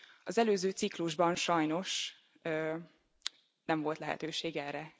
Az előző ciklusban sajnos nem volt lehetőség erre.